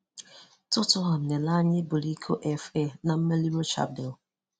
Tottenham na-ele anya iburu iko FA na mmeri Rochadale